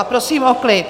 A prosím o klid!